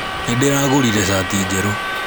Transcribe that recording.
Nĩndĩragũrire cati njerũ